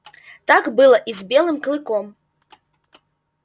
так было и с белым клыком